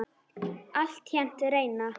Altént reyna.